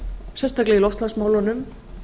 sérstaklega í loftslagsmálunum